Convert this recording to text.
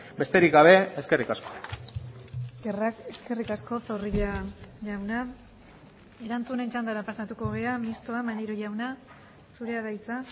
besterik gabe eskerrik asko eskerrik asko zorrilla jauna erantzunen txandara pasatuko gara mistoa maneiro jauna zurea da hitza